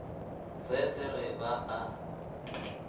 se se re ba a